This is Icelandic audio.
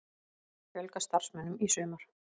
Fjölga starfsmönnum í sumar